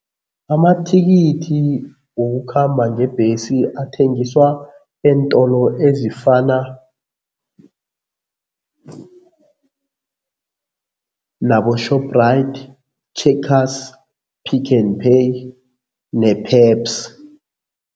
Amathikithi wokukhamba ngebhesi athengiswa eentolo ezifana nabo-Shoprite, Checkers, Pick n Pay